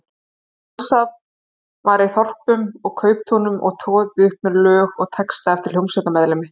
Stansað var í þorpum og kauptúnum og troðið upp með lög og texta eftir hljómsveitarmeðlimi.